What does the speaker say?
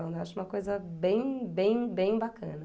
Eu acho uma coisa bem, bem, bem bacana.